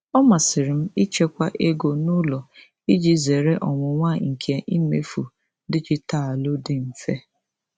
Ọ masịrị m ịchekwa ego n'ụlọ iji zere ọnwụnwa nke imefu dijitalụ dị mfe.